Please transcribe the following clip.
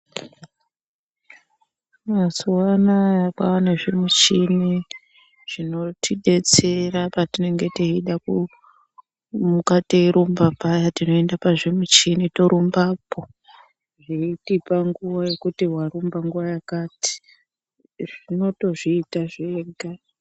Mazuwanaya kwane zvimishini zvinotidetsera patinenge teida kumuka teirumba paya tinoenda pazvimichini torumbapo zveitipa nguwa yekuti warumba nguwa yakati zvinotozviita zvega.